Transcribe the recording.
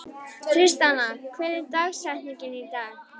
Tristana, hver er dagsetningin í dag?